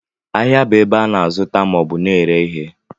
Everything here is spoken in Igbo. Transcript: Ahịa bụ ebe a na-azụta maọbụ na-ere ihe